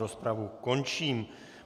Rozpravu končím.